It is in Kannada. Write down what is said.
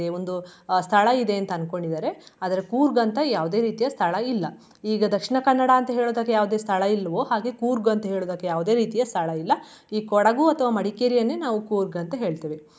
ಒಂದು ಅಹ್ ಸ್ಥಳಯಿದೆ ಅಂತ ಅನ್ಕೊಂಡಿದಾರೆ ಆದ್ರೆ ಕೂರ್ಗ್ ಅಂತಾ ಯಾವ್ದೆ ರೀತಿಯ ಸ್ಥಳ ಇಲ್ಲ ಈಗ ದಕ್ಷಿಣ ಕನ್ನಡ ಅಂತಾ ಹೇಳಿದಾಗ ಯಾವ್ದೆ ಸ್ಥಳ ಇಲ್ವೋ ಹಾಗೆ ಕೂರ್ಗ್ ಅಂತ ಹೇಳೋದಕ್ಕೆ ಯಾವ್ದೆ ರೀತಿಯ ಸ್ಥಳ ಇಲ್ಲ. ಈ ಕೊಡಗು ಅಥವಾ ಮಡಿಕೇರಿಯನ್ನೇ ನಾವು ಕೂರ್ಗ್ ಅಂತ ಹೇಳ್ತೇವೆ.